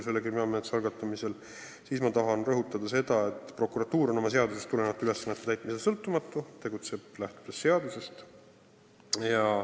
Vastuseks ma tahan rõhutada, et prokuratuur on oma seadusest tulenevate ülesannete täitmisel sõltumatu, ta tegutseb seadusest lähtudes.